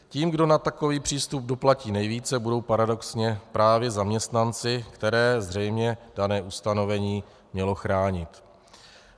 Tím, kdo na takový přístup doplatí nejvíce, budou paradoxně právě zaměstnanci, které zřejmě dané ustanovení mělo chránit.